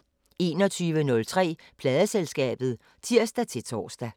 21:03: Pladeselskabet (tir-tor)